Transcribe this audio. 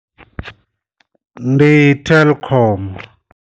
Ndi telkom.